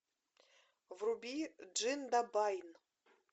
вруби джиндабайн